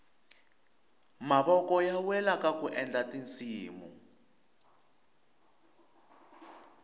mavoko ya wela kaku endla tinsimu